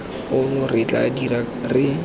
ono re tla dika re